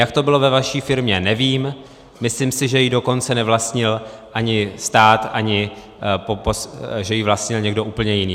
Jak to bylo ve vaší firmě, nevím, myslím si, že ji dokonce nevlastnil ani stát, ani , že ji vlastnil někdo úplně jiný.